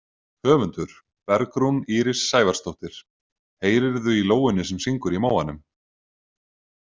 Höfundur: Bergrún Íris Sævarsdóttir Heyrirðu í lóunni sem syngur í móanum?